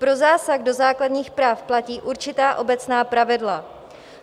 Pro zásah do základní práv platí určitá obecná pravidla.